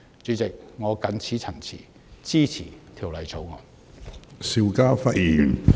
主席，我謹此陳辭，支持條例草案。